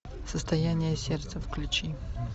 состояние сердца включи